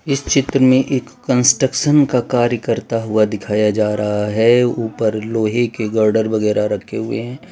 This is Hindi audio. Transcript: इस चित्र में एक कंस्ट्रक्शन का कार्य करता हुआ दिखाया जा रहा है ऊपर लोहे के गर्डर वगैरा रखें हुए हैं।